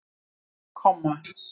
komma